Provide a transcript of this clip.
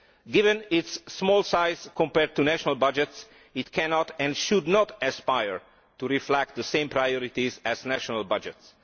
Given its small size compared to national budgets, it cannot, and should not, aspire to reflect the same priorities as national budgets.